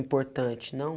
Importante, não?